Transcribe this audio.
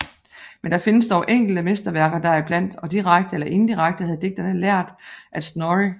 Men der findes dog enkelte mesterværker deriblandt og direkte eller indirekte havde digterne lært af Snorri